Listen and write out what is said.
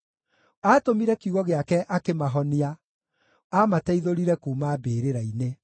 Aatũmire kiugo gĩake akĩmahonia; aamateithũrire kuuma mbĩrĩra-inĩ.